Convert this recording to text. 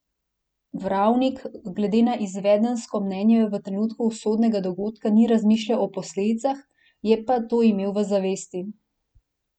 Vravnik glede na izvedensko mnenje v trenutku usodnega dogodka ni razmišljal o posledicah, je pa to imel v zavesti.